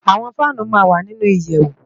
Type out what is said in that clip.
Awòn fànú má n wá ninú iyèwú